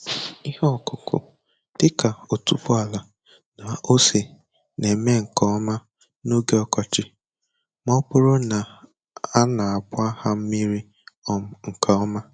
Ihe ọkụkụ dị ka otuboala na ose na-eme nke ọma n'oge ọkọchị ma ọ bụrụ na a na-agba ha mmiri um nke ọma.